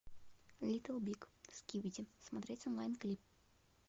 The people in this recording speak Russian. литл биг скибиди смотреть онлайн клип